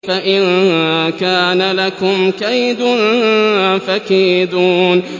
فَإِن كَانَ لَكُمْ كَيْدٌ فَكِيدُونِ